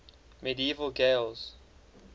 medieval gaels